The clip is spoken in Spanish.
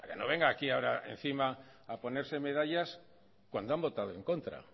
no venga aquí ahora encima a ponerse medallas cuando han votado en contra